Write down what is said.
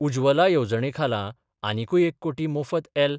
उजवला येवजणेखाला आनीकुय एक कोटी मोफत एल.